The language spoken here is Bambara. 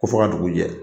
Ko fo ka dugu jɛ